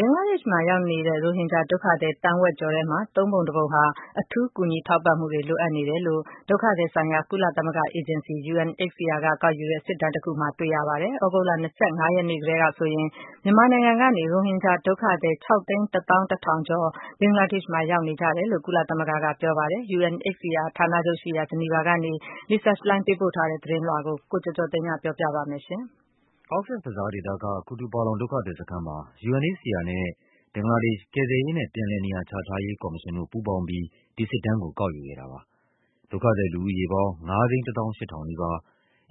ဘင်္ဂလားဒေ့ရှ်မှာရောက်နေတဲ့ ရိုဟင်ဂျာဒုက္ခသည် သန်းဝက်ကျော်ထဲမှာ သုံးပုံတပုံဟာ အထူးကူညီထောက်ပံ့မှု တွေ လိုအပ်နေတယ်လို့ ဒုက္ခသည်ဆိုင်ရာ ကုလသမဂ္ဂအေဂျင်စီ UNHCR က ကောက်ယူတဲ့ စစ်တမ်းတခုမှာ တွေ့ရပါတယ်။ သြဂုတ်လ ၂၅ ရက်နေ့ကတည်းကဆိုရင် မြန်မာနိုင်ငံကနေ ရိုဟင်ဂျာဒုက္ခသည် ၆၁၁,၀၀၀ ကျော် ဘင်္ဂလားဒေ့ရှ်မှာ ရောက်နေ ကြတယ်လို့ ကုလသမဂ္ဂကပြောပါတယ်။ UNHCR ဌာနချုပ်ရှိရာ ဂျီနီဗာကနေ Lisa Schlein ပို့ထားတဲ့သတင်းလွှာကို ကိုကျော်ကျော်သိန်းက ပြောပြပါမယ်။ Cox’s Bazar ဒေသက Kutupalong ဒုက္ခသည်စခန်းမှာ UNHCR နဲ့ ဘင်္ဂလားဒေ့ရှ်၊ ကယ်ဆယ်ရေးနဲ့ ပြန်လည်နေရာချ ထားရေးကော်မရှင်တို့ ပူးပေါင်းပြီး ဒီစစ်တမ်းကို ကောက်ယူခဲ့တာပါ။ ဒုက္ခသည်လူဦးရေပေါင်း ၅၁၈,၀၀၀ နီးပါး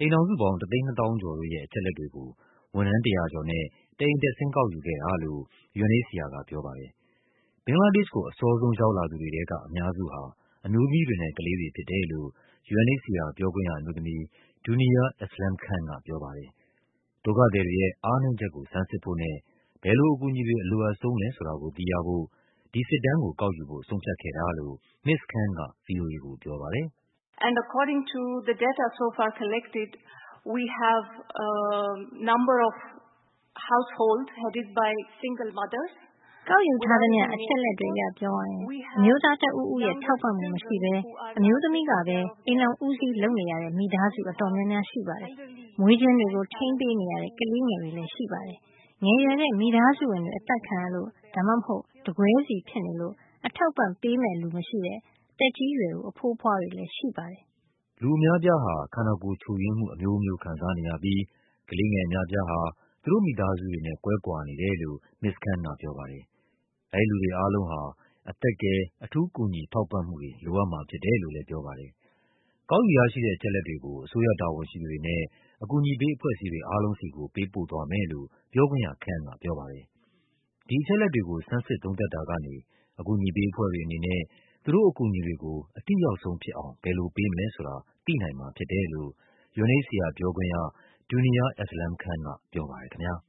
၊ အိမ်ထောင်စုပေါင်း ၁၂၀,၀၀၀ ကျော်တို့ရဲ့ အချက်အလက်တွေကို ဝန်ထမ်း ၁၀၀ ကျော်နဲ့ တအိမ်တက်ဆင်း ကောက်ယူခဲ့တာလို့ UNHCR ကပြောပါတယ်။ ဘင်္ဂလားဒေ့ရှ်ကို အစောဆုံးရောက်လာသူတွေထဲက အများစုဟာ အမျိုးသမီးတွေနဲ့ ကလေးတွေဖြစ်တယ်လို့ UNHCR ပြောခွင့်ရအမျိုးသမီး Duniya Aslam Khan ကပြောပါတယ်။ ဒုက္ခသည်တွေရဲ့ အားနည်းချက်ကို ဆန်းစစ်ဖို့နဲ့ ဘယ်လိုအကူအညီတွေ အလိုအပ်ဆုံးလဲ ဆိုတာကို သိရဖို့ ဒီစစ်တမ်းကို ကောက် ယူဖို့ ဆုံးဖြတ်ခဲ့တာလို့ မစ္စ Khan က ဗွီအိုအေ ကိုပြောပါတယ်။ “ကောက်ယူထားသမျှ အချက်အလက်တွေအရ အမျိုးသားတဦးဦးရဲ့ ထောက်ပံ့မှုမရှိဘဲ အမျိုးသမီးကပဲ အိမ်ထောင်ဦးစီး လုပ်နေ ရတဲ့မိသားစု အတော်များများ ရှိပါတယ်။ မွေးချင်းတွေကို ထိန်းပေးနေရတဲ့ ကလေးငယ်တွေရှိပါတယ်။ ငယ်ရွယ်တဲ့ မိသားစုဝင် တွေ အသတ်ခံရလို့ ဒါမှမဟုတ် တကွဲစီဖြစ်နေလို့ အထောက်အပံ့ပေးမယ့်လူမရှိတဲ့ သက်ကြီးရွယ်အို အဖိုးအဖွားတွေရှိပါတယ်။” လူအများအပြားဟာ ခန္ဓာကိုယ်ချို့ယွင်းမှု အမျိုးမျိုးခံစားနေရပြီး ကလေးငယ်အများ အပြားဟာ သူတို့မိသားစုတွေနဲ့ ကွဲကွာနေ တယ်လို့ မစ္စ Khan ကပြောပါတယ်။ အဲဒီလူတွေအားလုံးဟာ အသက်ကယ် အထူးကူညီထောက်ပံ့မှုတွေ လိုအပ်မှာဖြစ် တယ်လို့ လဲပြောပါတယ်။ ကောက်ယူရရှိတဲ့ အချက်အလက်တွေကို အစိုးရတာဝန်ရှိသူတွေနဲ့ အကူအညီပေး အဖွဲ့အစည်းတွေ အားလုံးဆီကို ပေးပို့သွားမယ် လို့ ပြောခွင့်ရ Khan ကပြောပါတယ်။ ဒီအချက်အလက်တွေကို ဆန်းစစ်သုံးသပ်တာကနေ အကူအညီပေးအဖွဲ့တွေအနေနဲ့ သူတို့ အကူအညီတွေကို အထိရောက်ဆုံးဖြစ်အောင် ဘယ်လိုပေးမလဲဆိုတာ သိနိုင်မှာဖြစ်တယ်လို့ UNHCR ပြောခွင့်ရ Duniya Aslam Khan ကပြောပါတယ်ခင်ဗျား။